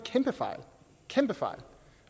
kæmpefejl